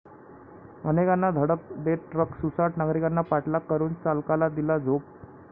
अनेकांना धडक देत ट्रक सुसाट, नागरिकांनी पाठलाग करून चालकाला दिला चोप